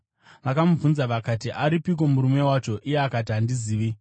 Vakamubvunza vakati, “Aripiko murume wacho?” Iye akati, “Handizivi.”